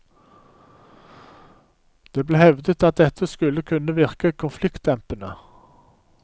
Det ble hevdet at dette skulle kunne virke konfliktdempende.